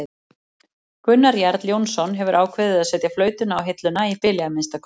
Gunnar Jarl jónsson hefur ákveðið að setja flautuna á hilluna, í bili að minnsta kosti.